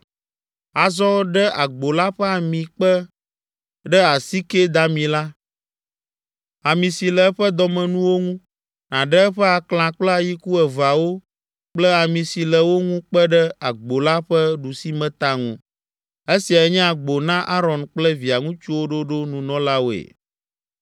“Azɔ ɖe agbo la ƒe ami kpe ɖe asike dami la, ami si le eƒe dɔmenuwo ŋu, nàɖe eƒe aklã kple ayiku eveawo kple ami si le wo ŋu kpe ɖe agbo la ƒe ɖusimeta ŋu. (Esiae nye agbo na Aron kple via ŋutsuwo ɖoɖo nunɔlawoe.)